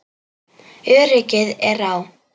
Öryggið er á.